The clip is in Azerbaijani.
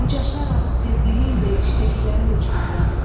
Qucaraq sevdiyi ilə yüksəklərə uçmada.